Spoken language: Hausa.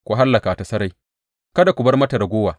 Ku hallaka ta sarai kada ku bar mata raguwa.